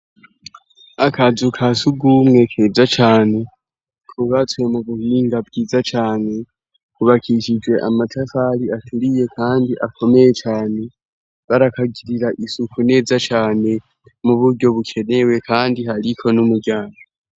Akazu ka sugumwe keza cane kubatswe mu buhinga bwiza cyane kubakishije amatafari aturiye kandi akomeye cane barakagirira isuku neza cyane mu buryo bukenewe kandi hariko n'umuryabo.